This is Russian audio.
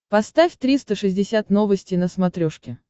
поставь триста шестьдесят новости на смотрешке